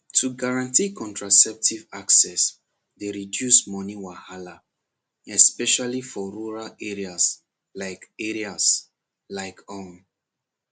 to guarantee contraceptive access dey reduce money wahala especially for rural areas like areas like um